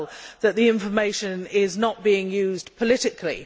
that the information is not being used politically.